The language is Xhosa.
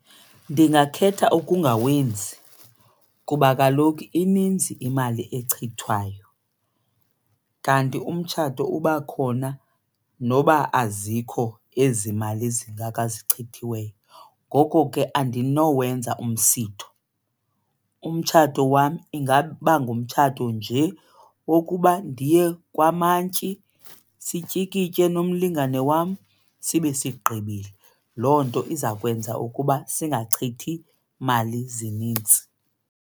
Ndingakhetha okungawenzi kuba kaloku ininzi imali echithwayo kanti umtshato uba khona noba azikho ezi mali zingaka zichithiweyo. Ngoko ke andinowenza umsitho, umtshato wam ingaba ngumtshato nje wokuba ndiye kwamantyi sityikitye nomlingani wam sibe sigqibile. Loo nto iza kwenza ukuba singachithi mali zinintsi.